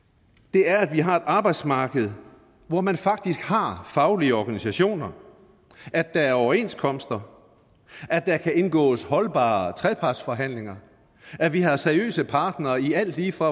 er at vi har et arbejdsmarked hvor man faktisk har faglige organisationer at der er overenskomster at der kan indgås holdbare trepartsforhandlinger at vi har seriøse partnere i alt lige fra